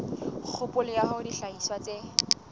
kgopolo ya hore dihlahiswa tse